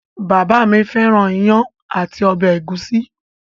Bàbá mi fẹ́ràn iyán àti ọbẹ̀ ẹ̀gúsí.